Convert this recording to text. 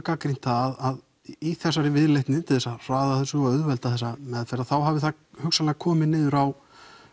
gagnrýnt það að í þessari viðleitni til þess að hraða þessu og auðvelda þessa meðferð þá hafi það hugsanlega komið niður á